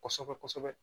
Kɔsɛbɛ kɔsɛbɛ